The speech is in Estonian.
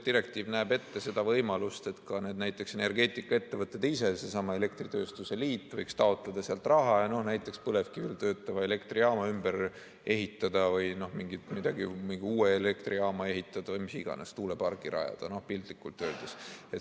Direktiiv näeb ette võimaluse, et ka energeetikaettevõtted ise, näiteks seesama elektritööstuse liit, võiks taotleda sealt raha ja näiteks põlevkivil töötava elektrijaama ümber ehitada või mingi uue elektrijaama ehitada, tuulepargi rajada või mis iganes, piltlikult öeldes.